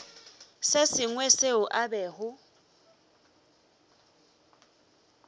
se sengwe seo a bego